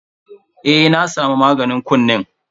Eh na saka maganin kunnen.